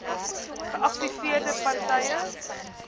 geaffekteerde par tye